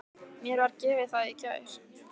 Mér var gefið það í gær.